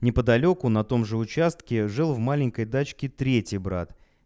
неподалёку на том же участке жил в маленькой дачке третий брат